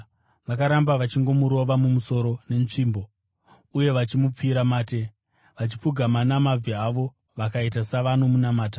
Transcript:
Vakaramba vachingomurova mumusoro netsvimbo uye vachimupfira mate. Vachipfugama namabvi avo, vakaita savanomunamata.